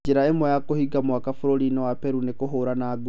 Njĩra ĩmwe ya 'kũhinga mwaka' bũrũri-inĩ wa Peru-nĩ kũhũrana ngundi